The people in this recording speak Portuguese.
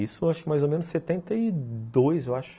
Isso acho que mais ou menos em setenta e dois, eu acho.